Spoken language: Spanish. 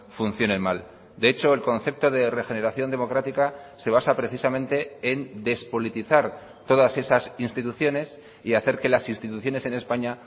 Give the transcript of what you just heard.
funcionen mal de hecho el concepto de regeneración democrática se basa precisamente en despolitizar todas esas instituciones y hacer que las instituciones en españa